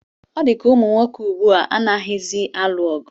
Ọ dịka ụmụnwoke ugbu a anaghịzi alụ ọgụ